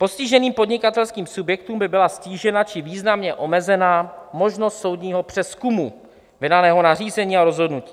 Postiženým podnikatelským subjektům by byla ztížena či významně omezena možnost soudního přezkumu vydaného nařízení a rozhodnutí.